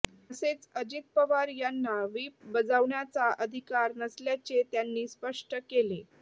तसेच अजित पवार यांना व्हीप बजावण्याचा अधिकार नसल्याचे त्यांनी स्पष्ट केले